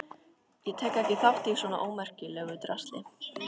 Ég tek ekki þátt í svona ómerkilegu drasli.